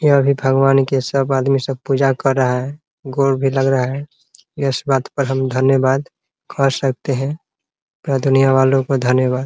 ये भी भगवान के सब आदमी सब पूजा कर रहा है गोड़ भी लग रहा है इस बात पर हम धन्यवाद कर सकते हैं पूरा दुनिया वालो को धन्यवाद --